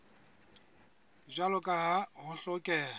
jwalo ka ha ho hlokeha